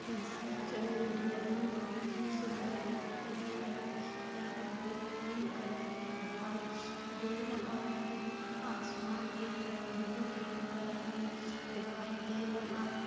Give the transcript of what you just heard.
इस पिक्चर मे डिज़ाइन बहुत ही सुंदर लग रही है यहा मंदिर क्रीम कलर मे दिखाई दे रहा है आसमान एकदम ब्लू ब्लू कलर मे दिखाई दे रहा है।